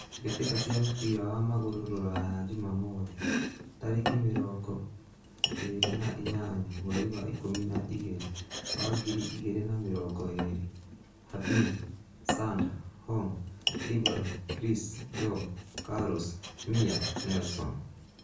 Mbitika cia mũbira wa magũrũ Rũraya Jumamothi, tarekĩ mĩrongoĩĩri na inyanya, mweri wa ikũmi na igirĩ wa ngiri igĩrĩ na mĩrongo ĩĩrĩ: Harbin, Sander, Hong, Ibrahim, Chris, Job, Carlos, Mia, Nelson